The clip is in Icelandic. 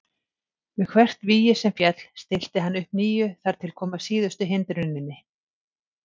Við hvert vígi sem féll stillti hann upp nýju þar til kom að síðustu hindruninni.